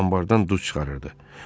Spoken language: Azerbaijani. Den anbardan duz çıxarırdı.